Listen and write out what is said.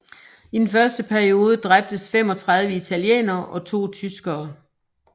I den første episode dræbtes 35 italienere og to tyskere